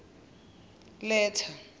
letha